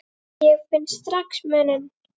Ég finn strax muninn.